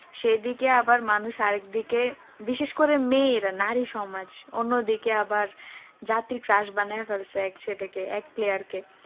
সেদিকে আবার মানুষ আরেক দিকে বিশেষ করে মেয়েরা নারী সমাজ অন্য দিকে আবার জাতীর crush বানিয়ে ফেলেছে এক সেদিকে এক player কে